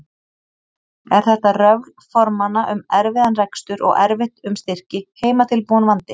Er þetta röfl formanna um erfiðan rekstur og erfitt um styrki, heimatilbúinn vandi?